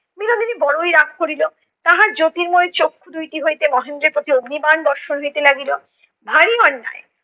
বিনীদিনী বড়ই রাগ করিলো, তাহার জ্যোতির্ময় চক্ষু দুইটি হইতে মহেন্দ্রের প্রতি আগ্নিবাণ বর্ষণ হইতে লাগিলো, ভারী অন্যায়।